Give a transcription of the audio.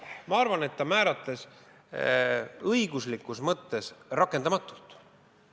Ma arvan, et ta määratles seda õiguslikus mõttes rakendamatult.